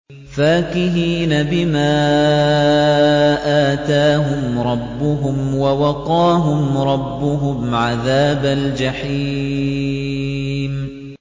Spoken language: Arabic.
فَاكِهِينَ بِمَا آتَاهُمْ رَبُّهُمْ وَوَقَاهُمْ رَبُّهُمْ عَذَابَ الْجَحِيمِ